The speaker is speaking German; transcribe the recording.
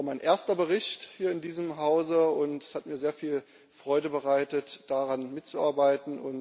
Es war mein erster Bericht hier in diesem Hause, und es hat mir sehr viel Freude bereitet, daran mitzuarbeiten.